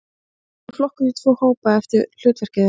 Þau eru flokkuð í tvo hópa eftir hlutverki þeirra.